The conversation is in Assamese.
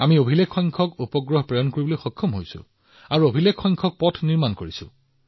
আমি অভিলেখ সংখ্যক উপগ্ৰহ উৎক্ষেপণ কৰি আছো আৰু অভিলেখ সংখ্যক পথ নিৰ্মাণ কৰি আছো